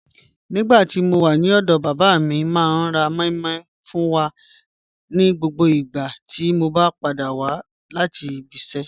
Nígbàtí mó wà ní ọdọ bàbá mi, máa ní rá mòí mòí fún wà ní gbogbo ìgbà tí o bá padà wà láti ìbí ìṣẹ.